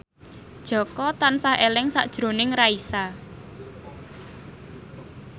Jaka tansah eling sakjroning Raisa